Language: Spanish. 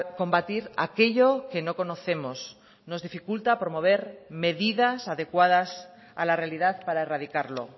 combatir aquello que no conocemos nos dificulta promover medidas adecuadas a la realidad para erradicarlo